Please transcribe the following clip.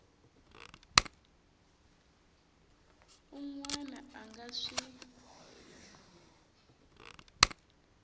un wana a nga swi